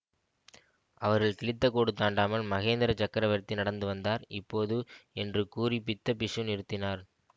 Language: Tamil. அவர்கள் கிழித்தகோடு தாண்டாமல் மகேந்திர சக்கரவர்த்தி நடந்து வந்தார் இப்போது என்று கூறி புத்த பிக்ஷு நிறுத்தினார்